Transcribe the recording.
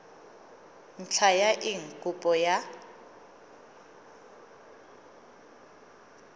ntlha ya eng kopo ya